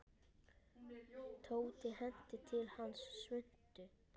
Tóti henti til hans svuntu.